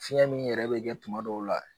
Fiɲɛn nin yɛrɛ be kɛ tuma dɔw la